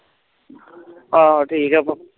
ਆਹ ਠੀਕ ਆ